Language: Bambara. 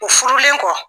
U furulen kɔ